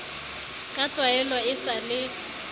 ka tlwaelo e sa le